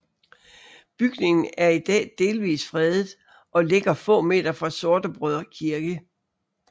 Bygningen er i dag delvis fredet og ligger få meter fra Sortebrødre Kirke